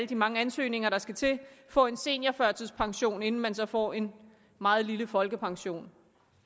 de mange ansøgninger der skal til få en seniorførtidspension inden man så får en meget lille folkepension